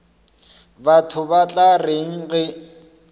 batho ba tla reng ge